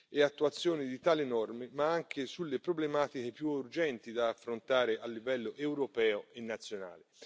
e attuazione di tali norme, ma anche sulle problematiche più urgenti da affrontare a livello europeo e nazionale.